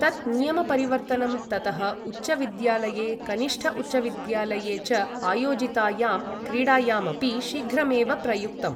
तत् नियमपरिवर्तनं ततः उच्चविद्यालये, कनिष्ठ उच्चविद्यालये च आयोजितायां क्रीडायाम् अपि शीघ्रमेव प्रयुक्तम्।